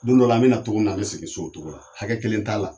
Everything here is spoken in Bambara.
Don dɔ la an be na togo min na, an be segin so o togo la .Hakɛ kelen t'a la.